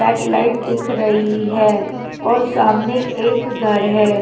Back light दिख रही है और सामने एक घर हैं।